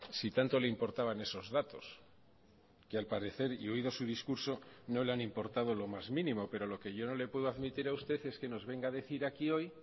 si tanto le importaban esos datos que al parecer y oído su discurso no le han importado lo más mínimo pero lo que yo no le puedo admitir a usted es que nos venga a decir aquí hoy